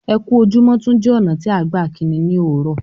Ẹ ku ojúmọ tún jẹ́ ọna tí à gbà kínní ní ọ́lọ́